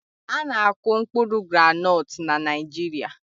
A na-akụ mkpụrụ groundnut na Naịjirịa